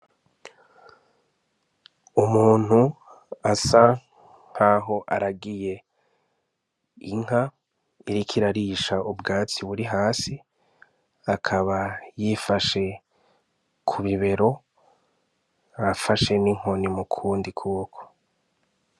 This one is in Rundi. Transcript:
Umuntu asa nkaho aragiye inka iriko irarisha ubwatsi buri hasi akaba yifashe ku bibero afashe n' inkoni mukundi kuboko.